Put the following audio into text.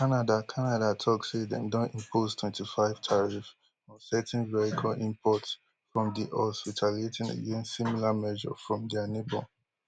canada canada tok say dem don impose twenty-five tariff on certain vehicle imports from di us retaliating against similar measure from dia neighbour